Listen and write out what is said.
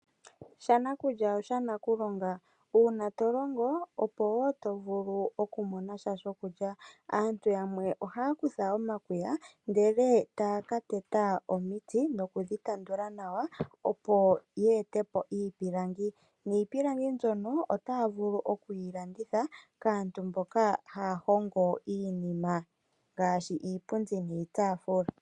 Shanakulya oshanakulonga. Uuna to longo, opo wo to vulu oku mona sha shokulya. Aantu yamwe ohaya kutha omakuya ndele etaya ka teta omiti nokudhi tanduka nawa opo dhi ete po iipilangi. Niipilangi mbyono otaya vulu okuyi landitha kaantu mboka haya hongo iinima ngaashi iipundi niitaafula.